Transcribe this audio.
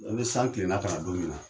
E ni san kilela ka na don min na